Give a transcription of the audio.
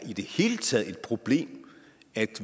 i det hele taget er et problem at